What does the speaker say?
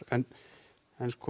en